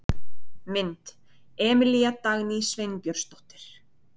Mynd: Emilía Dagný Sveinbjörnsdóttir.